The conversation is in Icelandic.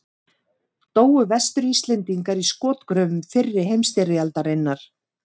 Dóu Vestur-Íslendingar í skotgröfum fyrri heimstyrjaldarinnar?